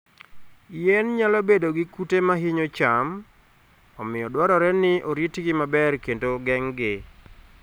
Yien nyalo bedo gi kute ma hinyo cham, omiyo dwarore ni oritgi maber kendo geng'gi.